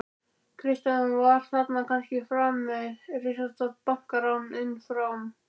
Kristján: Var þarna kannski framið risastórt bankarán, innanfrá?